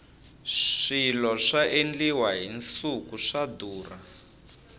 swilo swa endliwa hi nsuku swa durha